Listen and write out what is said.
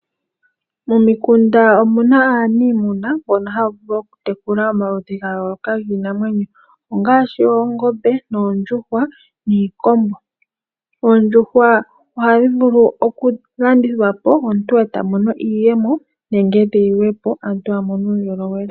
Momikunda omu na aaniimuna mbono haa vulu oku tekula omaludhi ga yooloka giinamwenyo ongaashi oongombe , noondjuhwa niikombo. Oondjuhwa ohadhi vulu oku landithwa po, omuntu e ta mono iiyemo nenge tayi liwa po omuntu a mone uundjolowele.